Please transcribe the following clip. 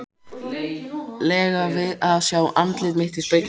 lega við að sjá andlit mitt í speglinum.